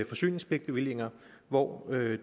forsyningspligtbevillinger hvor